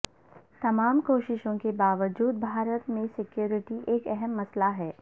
تمام کوششوں کے باوجود بھارت میں سکیورٹی ایک اہم مسئلہ ہے